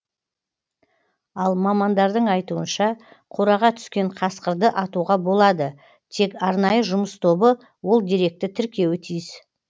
ал мамандардың айтуынша қораға түскен қасқырды атуға болады тек арнайы жұмыс тобы ол деректі тіркеуі тиіс